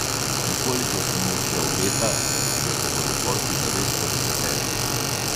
In koliko se mu še obeta, če se bodo posli zares podeseterili.